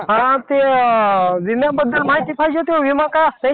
हा ते विम्याबद्दल माहिती पाहिजे होती हो. विमा काय असतंय?